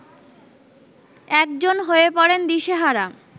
একজন হয়ে পড়েন দিশেহারা